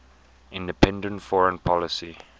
independent foreign policy